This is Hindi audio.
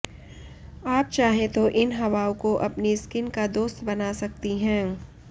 आप चाहें तो इन हवाओं को अपनी स्किन का दोस्त बना सकती हैं